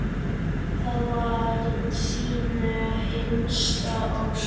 Það var þín hinsta ósk.